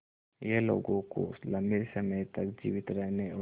यह लोगों को लंबे समय तक जीवित रहने और